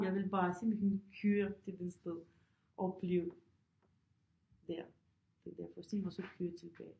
Jeg vil bare simpelthen køre til den sted opleve der den der forestilling og så køre tilbage